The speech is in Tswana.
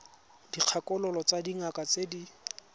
dikgakololo tsa dingaka tse di